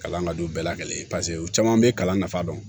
Kalan ka don bɛɛ la kelen ye paseke u caman bɛ kalan nafa dɔn